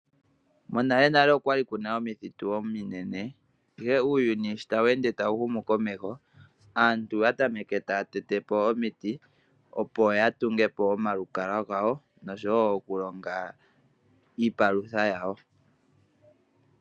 Monalenale okwali kuna omithitu ominene ihe uuyuni sho tawu ende tawu humu komeho, aantu oya tameke taya tete po omiti opo yatunge po omalukalwa gawo nosho wo okulonga iipalutha yawo.